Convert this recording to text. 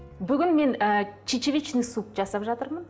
бүгін мен ы чечевичный суп жасап жатырмын